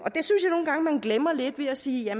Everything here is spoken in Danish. glemmer lidt ved at sige at